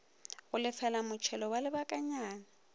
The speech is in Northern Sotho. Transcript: go lefela motšhelo wa lebakanyana